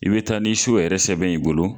I be taa ni yɛrɛ sɛbɛn ye i bolo.